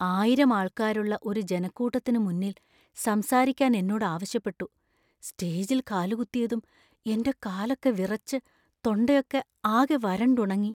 ആയിരം ആള്‍ക്കാരുള്ള ഒരു ജനക്കൂട്ടത്തിനു മുന്നിൽ സംസാരിക്കാൻ എന്നോട് ആവശ്യപ്പെട്ടു. സ്റ്റേജില്‍ കാലുകുത്തിയതും എന്‍റെ കാലൊക്കെ വിറച്ച്, തൊണ്ടയൊക്കെ ആകെ വരണ്ടുണങ്ങി .